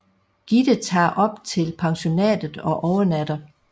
Gitte tager op til pensionatet og overnatter